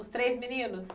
Os três meninos?